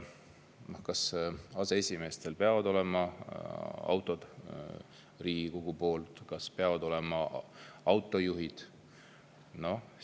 Kas aseesimeestel peavad olema autod Riigikogu poolt, kas peavad olema autojuhid?